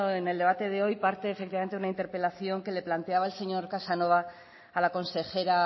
en el debate de hoy parte efectivamente de una interpelación que le planteaba el señor casanova a la consejera